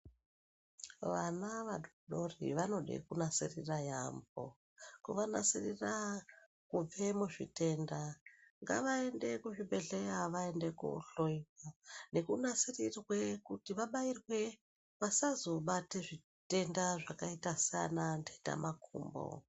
Vana vadodori vanode kunasirira yaamho kuvanasirira kubve muzvitenda. Ngavaende kuzvibhadhlera vaende kohloiwa, nekunasirirwe kuti vabairwe vsazobate zvitenda zvakaita sana nhtetamakumbo.